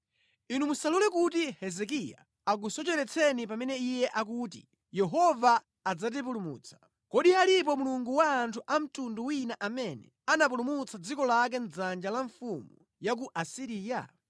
“Inu musalole kuti Hezekiya akusocheretseni pamene iye akuti, ‘Yehova adzatipulumutsa.’ Kodi alipo mulungu wa anthu a mtundu wina amene anapulumutsa dziko lake mʼdzanja la mfumu ya ku Asiriya?